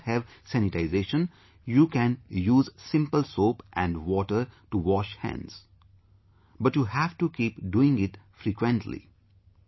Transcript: If you do not have sanitisation, you can use simple soap and water to wash hands, but you have to keep doing it frequently